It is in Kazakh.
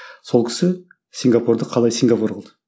сол кісі сингапурды қалай сингапур қылды